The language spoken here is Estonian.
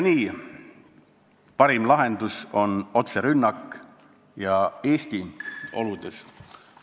" Nii et parim lahendus on otserünnak ja Eesti oludes ...